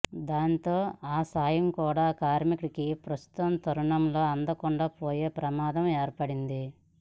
దాంతో ఆ సాయం కూడా కార్మికుడికి ప్రస్తుత తరుణంలో అందకుండా పోయే ప్రమాదం ఏర్పడింది